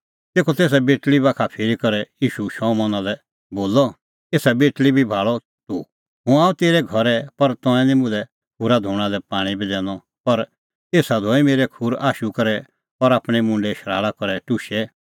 तेखअ तेसा बेटल़ी बाखा फिरी करै ईशू शमौना लै बोलअ एसा बेटल़ी बी भाल़ा तूह हुंह आअ तेरै घरै पर तंऐं निं मुल्है खूरा धोणा लै पाणीं बी दैनअ पर एसा धोऐ मेरै खूर आशू करै और आपणैं मुंडे शराल़ा करै टुशै